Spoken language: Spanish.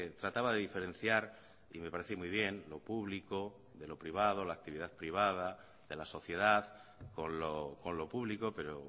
trataba de diferenciar y me parece muy bien lo público de lo privado la actividad privada de la sociedad con lo público pero